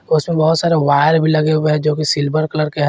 उसमें बहोत सारे वायर भी लगे हुए जो की सिल्वर कलर के--